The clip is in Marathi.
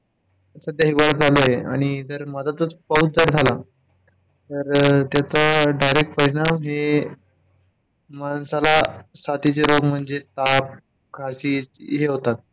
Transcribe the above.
सध्या हिवाळा चालू आहे आणि त्याच्या मध्यातच पाऊस चालू झाला, तर त्याचा direct परिणाम हे माणसाला साथीचे रोग म्हणजे ताप, खाशी हे होतात